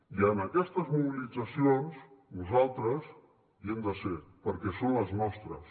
i en aquestes mobilitzacions nosaltres hi hem de ser perquè són les nostres